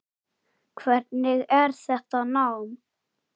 Hvernig er þetta nám?